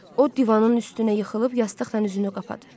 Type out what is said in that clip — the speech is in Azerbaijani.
O divanın üstünə yıxılıb yastıqla üzünü qapadı.